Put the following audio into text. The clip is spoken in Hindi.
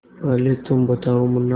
पहले तुम बताओ मुन्ना